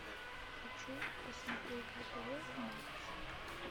хочу посмотреть на тв матч